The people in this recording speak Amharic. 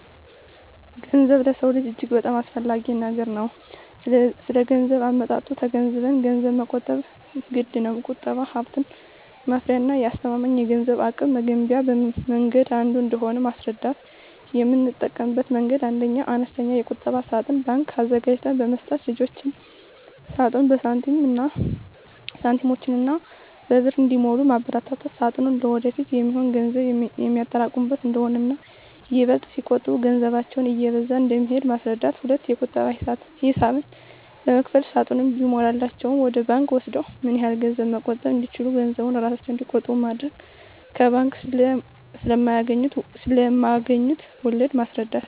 ገንዘብ ለሰው ልጆች በጣም አስፈላጊ ነገር ነው ስለገንዘብ አመጣጡ ተገንዝበንም ገንዘብን መቆጠብ ግድነው። ቁጠባ ሀብት ማፍሪያና አስተማማኝ የገንዘብ አቅም መገንቢያ መንገድ አንዱ እንደሆነ ማስረዳት: የምጠቀምበት መንገድ 1ኛ, አነስተኛ የቁጠባ ሳጥን (ባንክ) አዘጋጅተን በመስጠት ልጆች ሳጥኑን በሳንቲሞችና በብር እንዲሞሉ ማበርታት ሳጥኑ ለወደፊት የሚሆን ገንዘብ የሚያጠራቅሙበት እንደሆነና ይበልጥ ሲቆጥቡ ገንዘባቸው እየበዛ እንደሚሄድ ማስረዳት። 2ኛ, የቁጠባ ሂሳብ በመክፈት ሳጥኑ ሲሞላላቸው ወደ ባንክ ወስደው ምን ያህል ገንዘብ መቆጠብ እንደቻሉ ገንዘቡን እራሳቸው እንዲቆጥሩ ማድረግ። ከባንክ ስለማገኙት ወለድ ማስረዳት።